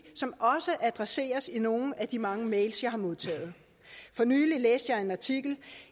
som også adresseres i nogle af de mange mails jeg har modtaget for nylig læste jeg en artikel